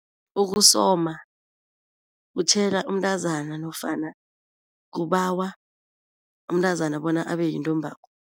Ukusoma kutjhela umntazana nofana kubawa umntazana bona abeyintombakho.